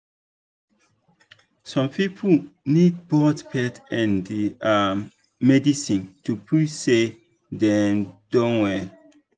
some people need both faith and um medicine to feel say dem don well.